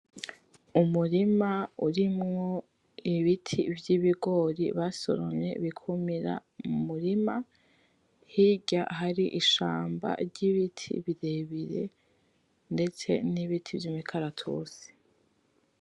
Umurima urimwo ibiti vy'ibigori basoromye bikumira mumurima, hirya hari ishamba ry'ibiti birebire ndetse n'ibiti vyimikaratusi.